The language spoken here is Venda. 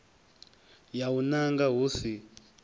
ya u nanga hu si